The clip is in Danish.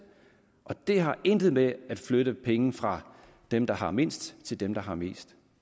det har intet med at flytte penge fra dem der har mindst til dem der har mest